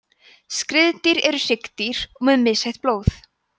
skriðdýr eru hryggdýr með misheitt blóð